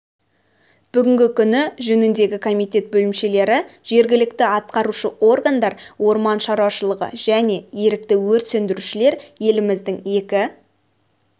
бүгінгі күні жөніндегі комитет бөлімшелері жергілікті атқарушы органдар орман шаруашылығы және ерікті өрт сөндірушілер еліміздің екі